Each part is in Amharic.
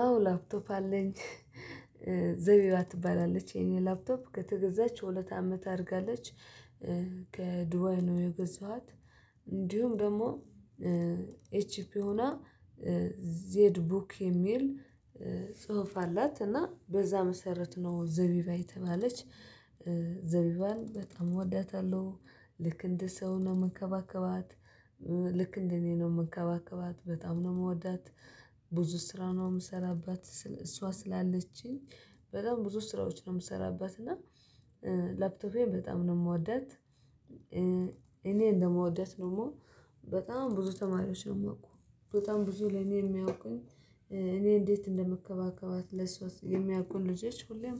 አዎ ላፕቶፕ አለኝ ዘቢባ ትባላለች የኔ ላፕቶፕ ከተገዛች ሁለት አመት አድጋለች። ከዱባይ ነው የገዛኋት እንዲሁም ደግሞ ኤችፒ ሆና ዜድ ቡክ የሚል ጽሁፍ አላት እና በዛ መሰረት ነው ዘቢባ የተባለች ዘቢባን በጣም እወዳታለሁ ልክ እንደ ሰው ነው ምንከባከባት ልክ እንደ እኔ ነው ምንከባከባት በጣም ነው ምወዳት ብዙ ስራ ነው ምሰራባት እሷ ስላለችኝ በጣም ብዙ ስራዎች ነው ምሰራባት እና ላፕቶፔን በጣም ነው ምወዳት እኔ እንደምወዳት ደግሞ በጣም ብዙ ተማሪዎች ነው ሚያውቁት በጣም ብዙ ለኔ የሚያውቁኝ እኔ እንዴት እንደምከባከባት ለእሷ የሚያውቁን ልጆች ሁሌም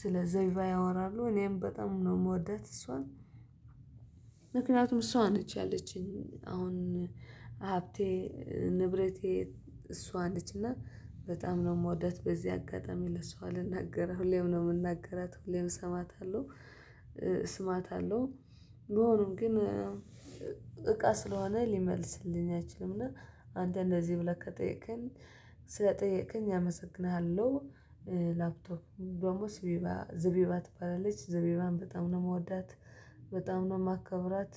ስለ ዘቢባ ያወራሉ እኔም በጣም ነው ምወዳት እሷን ምክንያቱም እሷ ነች ያለችኝ አሁን ሀብቴ ንብረቴ እሷ ነች እና በጣም ነው ምወዳት በዚህ አጋጣሚ ለሰው አልናገረም ሁሌም ነው ምናገራት ሁሌም እሰማታለሁ ስማታለሁ መሆኑን ግን እቃ ስለሆነ ሊመልስልኝ አይችልም እና አንተ እንደዚህ ብለህ ከጠየከኝ ስለጠየከኝ አመሰግንሃለሁ። ላፕቶፕ ደግሞ ዘቢባ ትባላለች። ዘቢባን በጣም ነው ምወዳት። በጣም ነው ማከብራት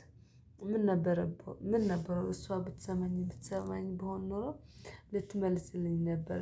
ምን ነበረብህ ምን ነበረው እሷ ብትሰማኝ ብትሰማኝ ብሆን ኖሮ ልትመልስልኝ ነበር።